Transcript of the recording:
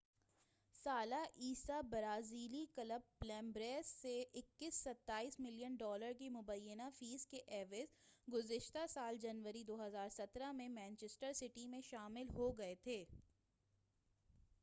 21 سالہ عیسیٰ برازیلی کلب پلمیراس سے 27 ملین ڈالر کی مبینہ فیس کے عوض گذشتہ سال جنوری 2017 میں مانچسٹر سٹی میں شامل ہو گئے تھے